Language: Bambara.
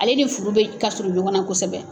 Ale ni furu bɛ kasurun ɲɔgɔnna kosɛbɛ.